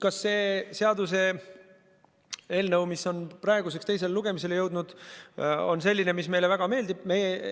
Kas see seaduseelnõu, mis on praeguseks teisele lugemisele jõudnud, on selline, mis meile väga meeldib?